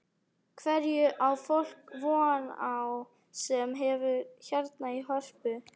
Hverju á fólk von á sem kemur hérna í Hörpu?